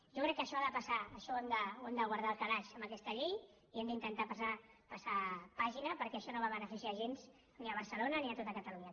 jo crec que això ha de passar això ho hem de guardar al calaix amb aquesta llei i hem d’intentar passar pàgina perquè això no va beneficiar gens ni a barcelona ni a tot catalunya